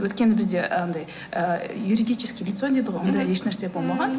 өйткені бізде анадай ы юридическое лицо дейді ғой ондай ешнәрсе болмаған